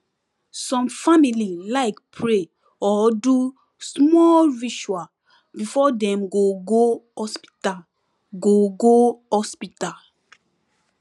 some family like pray or do smol ritual before dem go go hospital go go hospital